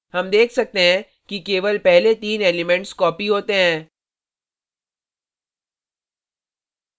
हम देख सकते हैं कि केवल पहले तीन elements copied होते हैं